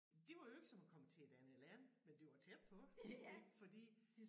Det var jo ikke som at komme til et andet land men det var tæt på ik fordi